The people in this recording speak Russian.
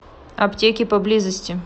аптеки поблизости